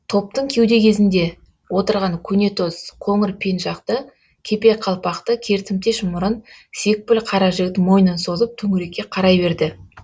топтың кеуде кезінде отырған көнетоз қоңыр пенжақты кепе қалпақты кертімтеш мұрын секпіл қара жігіт мойнын созып төңірекке қарай берді